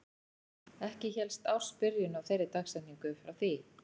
Ekki hélst ársbyrjun á þeirri dagsetningu upp frá því.